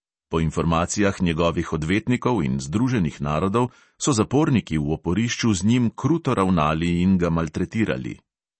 Po informacijah njegovih odvetnikov in združenih narodov so zaporniki v oporišču z njim kruto ravnali in ga maltretirali.